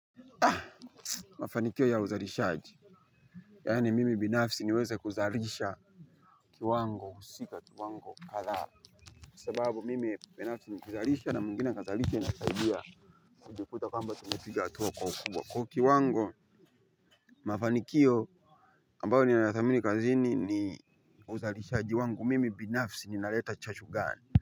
Ah mafanikio ya uzalishaji. Yaani mimi binafsi niweze kuzalisha kiwango husika kiwango kathaa, sababu mimi binafsi nikizalisha na mwingine akazalishe inasaidia so ukikuta kwamba tumepiga hatua kwa ukubwa kwa kiwango. Mafanikio ambayo ninathamini kazini ni uzalishaji wangu mimi binafsi ninaleta chachu gani.